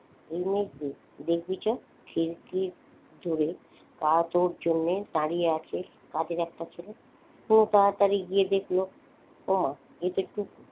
দেখবি চল খিড়কির দূরে তোর জন্য দাঁড়িয়ে আছি কাদের একটা ছেলে ও তাড়াতাড়ি গিয়ে দেখলো ওমা এতো টুকু।